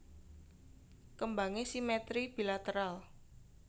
Kembangé simetri bilateral